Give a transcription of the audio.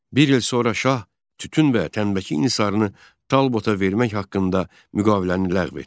Bir il sonra şah tütün və tənbəki nisarını Talbota vermək haqqında müqaviləni ləğv etdi.